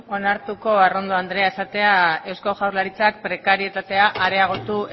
onartuko arrondo andrea esatea eusko jaurlaritzak prekarietatea areagotu